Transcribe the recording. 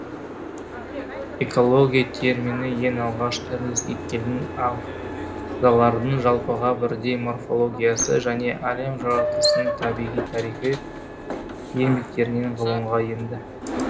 экология термині ең алғаш эрнст геккельдің ағзалардың жалпыға бірдей морфологиясы және әлем жаратылысының табиғи тарихы еңбектерінен ғылымға енді